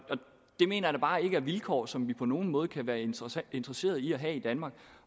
det mener jeg da bare ikke er vilkår som vi på nogen måde kan være interesseret interesseret i at have i danmark